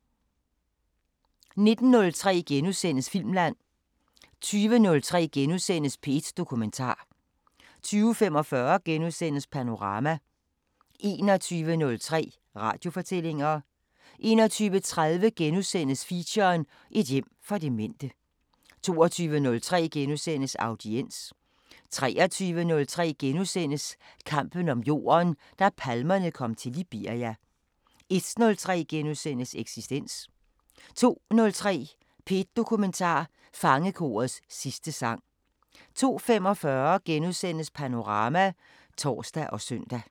19:03: Filmland * 20:03: P1 Dokumentar * 20:45: Panorama * 21:03: Radiofortællinger 21:30: Feature: Et hjem for demente * 22:03: Audiens * 23:03: Kampen om jorden – da palmerne kom til Liberia * 01:03: Eksistens * 02:03: P1 Dokumentar: Fangekorets sidste sang 02:45: Panorama *(tor og søn)